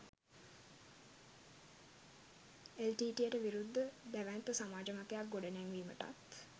එල්.ටී.ටී.ඊ.යට විරුද්ධ දැවැන්ත සමාජ මතයක් ගොඩනැංවීමටත්